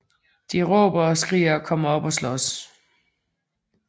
De råber og skriger og kommer op at slås